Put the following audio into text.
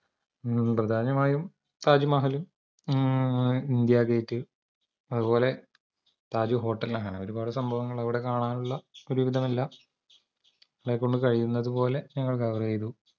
പ്രധാനമായും താജ്മഹല്‍ മ്മ് ഇന്ത്യഗേറ്റ് അതുപോലെ താജ് hotel അങ്ങനെ ഒരുപാട് സംഭവങ്ങൾ അവട കാണാനുള്ള ഒരുവിധമെല്ലാ ങ്ങളെകൊണ്ട് കഴിയുന്നതുപോലെ ഞങ്ങൾ cover ചെയ്തു